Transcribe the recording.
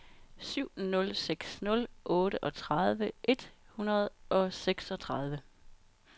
syv nul seks nul otteogtredive et hundrede og seksogtredive